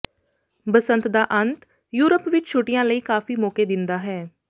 ਬਸੰਤ ਦਾ ਅੰਤ ਯੂਰਪ ਵਿਚ ਛੁੱਟੀਆਂ ਲਈ ਕਾਫੀ ਮੌਕੇ ਦਿੰਦਾ ਹੈ